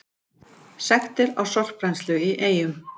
Sektir á sorpbrennslu í Eyjum